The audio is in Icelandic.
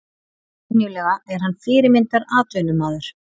Venjulega er hann fyrirmyndar atvinnumaður.